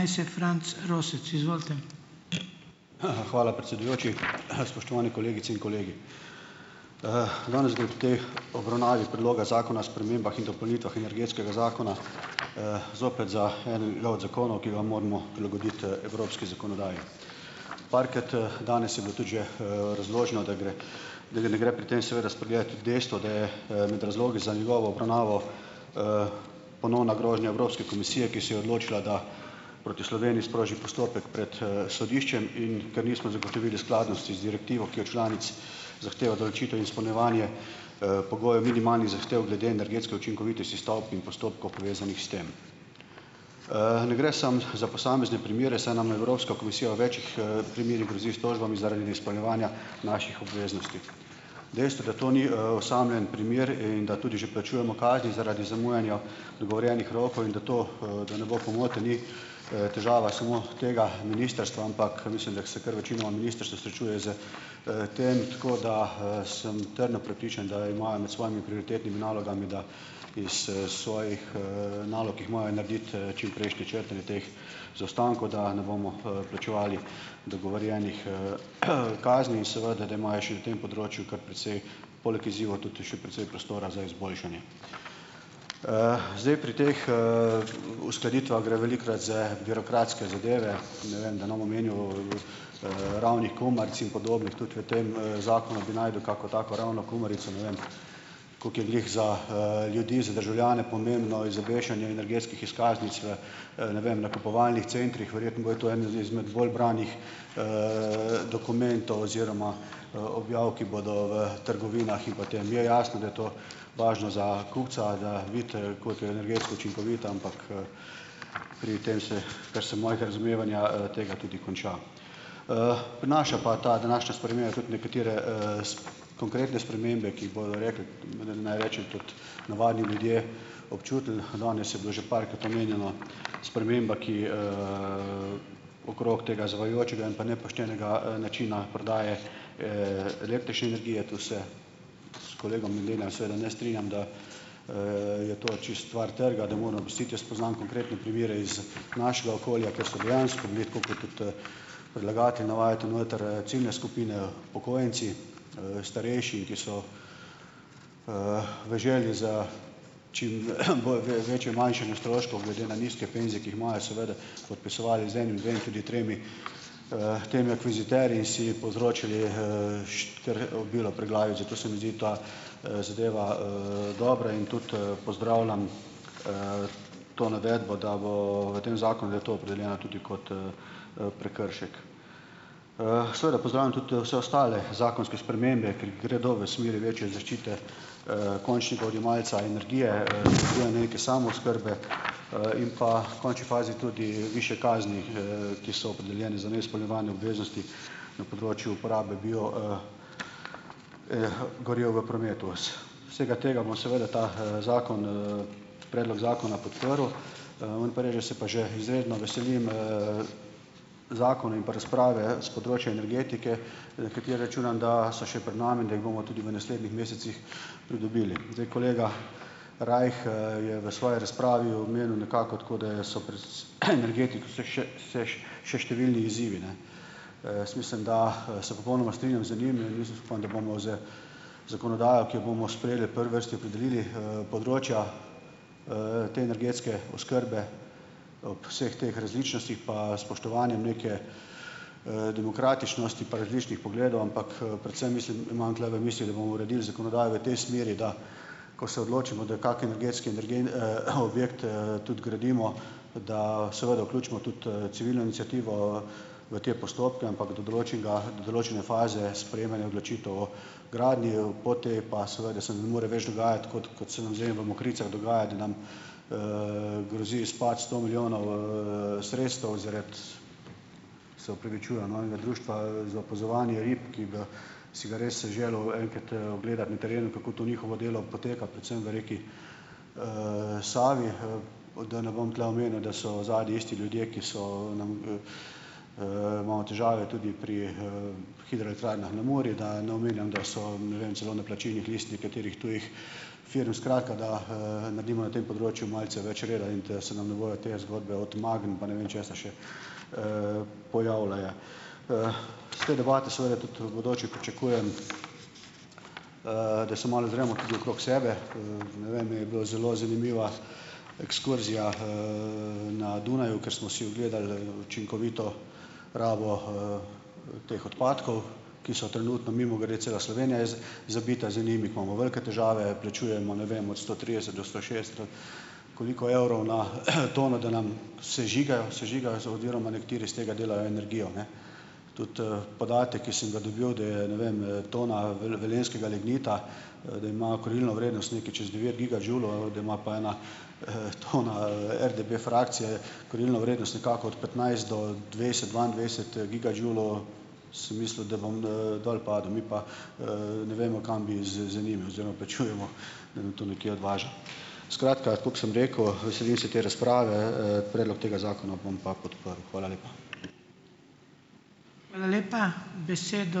Hvala, predsedujoči. Spoštovane kolegice in kolegi! Danes bi ob tej obravnavi Predloga zakona o spremembah in dopolnitvah Energetskega zakona, zopet za enega od zakonov, ki ga moramo prilagoditi evropski zakonodaji. Parkrat, danes je bilo tudi že, razloženo, da gre, da ga ne gre pri tem seveda spregledati tudi dejstva, da je, med razlogi za njegovo obravnavo, ponovna grožnja Evropske komisije, ki se je odločila, da proti Sloveniji sproži postopek pred, sodiščem, in ker nismo zagotovili skladnosti z direktivo, ki od članic zahteva določitev in izpolnjevanje, pogojev minimalnih zahtev glede energetske učinkovitosti stavb in postopkov, povezanih s tem. Ne gre samo za posamezne primere, saj nam Evropska komisija v večih, primerih grozi s tožbami zaradi neizpolnjevanja naših obveznosti. Dejstvo, da to ni, osamljen primer in da tudi že plačujemo kazni zaradi zamujanja dogovorjenih rokov, in da to, da ne bo pomote, ni, težava samo tega ministrstva, ampak mislim, da se kar večina ministrstev srečuje s, tem. Tako da, sem trdno prepričan, da imajo med svojimi prioritetnimi nalogami, da iz, svojih, nalog, ki jih imajo narediti, čimprejšne črtanje teh zaostankov, da ne bomo, plačevali dogovorjenih, kazni, in seveda da imajo še na tem področju kar precej poleg izzivov ta še precej prostora za izboljšanje. Zdaj, pri teh, uskladitvah gre velikokrat za birokratske zadeve. Ne vem, da ne bom omenjal, ravnih kumaric in podobnih, tudi v tem, zakonu bi našel kako tako ravno kumarico. Ne vem, koliko je glih za, ljudi, za državljane pomembno izobešanje energetskih izkaznic v, ne vem, nakupovalnih centrih. Verjetno bojo to eni izmed bolj branih, dokumentov oziroma, objav, ki bodo v trgovinah, in potem je jasno, da je to važno za kupca, da vidi, koliko je energetsko učinkovito, ampak, pri tem se, kar se mojega razumevanja, tega tudi konča. Prinaša pa ta današnja sprememba tudi nekatere, konkretne spremembe, ki jih bodo rekli, naj rečem, tudi navadni ljudje občutili. Danes je bilo že parkrat omenjena sprememba, ki, okrog tega zavajajočega in pa nepoštenega, načina prodaje, električne energije. Tu se s kolegom seveda ne strinjam, da, je to čisto stvar trga, da moramo pustiti. Jaz poznam konkretne primere iz našega okolja, kjer so dejansko bili - tako kot tudi predlagatelji navajate noter, ciljne skupine upokojenci, starejši, ki so, v želji za stroškov, glede na nizke penzije, ki jih imajo, seveda, podpisovali z enim, dvema, tudi tremi, temi akviziterji in si povzročili, obilo preglavic. Zato se mi zdi ta, zadeva, dobra. In tudi pozdravljam, to navedbo, da v v tem zakonu, da je to opredeljeno tudi kot, prekršek. Seveda pozdravljam tudi vse ostale zakonske spremembe, ki gredo v smeri večje zaščite, končnega odjemalca energije, samooskrbe, in pa v končni fazi tudi višje kazni, ki so opredeljene za neizpolnjevanje obveznosti na področju uporabe bio, goriv v prometu. vsega tega bomo seveda ta zakon, ta predlog zakona podprl. Moram pa reči, da se pa že izredno veselim, zakona in pa razprave s področja energetike, na katere računam, da so še pred nami in da jih bomo tudi v naslednjih mesecih pridobili. Zdaj, kolega Rajh, je v svoji razpravi omenil nekako tako, da so pri še številni izzivi, ne. Jaz mislim da, se popolnoma strinjam z njim in upam, da bomo z zakonodajo, ki jo bomo sprejeli v prvi vrsti opredelili, področja, te energetske oskrbe ob vseh teh različnostih pa spoštovanjem neke, demokratičnosti, pa različnih pogledov, ampak, predvsem mislim, imam tule v mislih, da bomo uredili zakonodajo v tej smeri, da ko se odločimo, da je kak energetski objekt, tudi gradimo, da seveda vključimo tudi, civilno iniciativo v te postopke, ampak do določenega, do določene faze sprejemanja odločitev o gradnji, po tej pa seveda se ne more več dogajati, kot kot se nam zdaj v Mokricah dogaja, da nam, grozi izpad sto milijonov, sredstev zaradi, se opravičujem, no, enega društva, za opazovanje rib, ki ga si ga res si želel enkrat, ogledati na terenu, kako to njihovo delo poteka, predvsem v reki, Savi. Da ne bom tule omenil, da so zadaj isti ljudje, ki so nam, imamo težave tudi pri, hidroelektrarnah na Muri, da ne omenjam, da so, ne vem, celo na plačilnih listah nekaterih tujih firm - skratka, da, naredimo na tem področju malce več reda in da se nam ne bojo te zgodbe od Magen pa ne vem česa še, pojavljale. S te debate seveda tudi v bodoče pričakujem, da se malo ozremo tudi okrog sebe. Ne vem, mi je bilo zelo zanimiva ekskurzija, na Dunaju, ker smo si ogledali, učinkovito rabo, teh odpadkov, ki so trenutno, mimogrede, cela Slovenija je zabita z njimi, imamo velike težave. Plačujemo, ne vem, od sto trideset do sto šest, koliko evrov na, tono, da nam sežigajo, sežigajo oziroma nekateri iz tega delajo energijo, ne. Tudi, podatek, ki sem ga dobil, da je, ne vem, tona velenjskega lignita, da ima kurilno vrednost nekaj čez devet gigadžulov, da ima pa ena, tona, RDB frakcije kurilno vrednost nekako od petnajst do dvajset, dvaindvajset gigadžulov, sem mislil, da bom, dol padel. Mi pa, ne vemo, kam bi z z njimi oziroma plačujemo, da nam to nekje odvaža. Skratka, tako kot sem rekel, veselim se te razprave. Predlog tega zakona bom pa podprl. Hvala lepa.